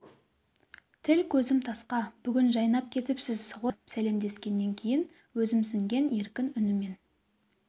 тіл-көзім тасқа бүгін жайнап кетіпсз ғой деді сәлемдескеннен кейін өзімсінген еркін үнімен